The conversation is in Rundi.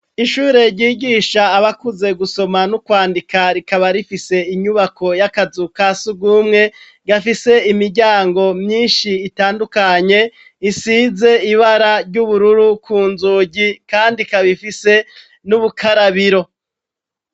Ishure ryigisha abakuze gusoma n'ukwandika rikaba rifise inyubako y'akazu ka sugumwe gafise imiryango myinshi itandukanye isize ibara ry'ubururu ku nzugi kandi ikab' ifise n'ubukarabiro.